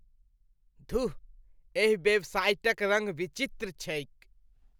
धुः, एहि वेबसाइटक रङ्ग विचित्र छैक।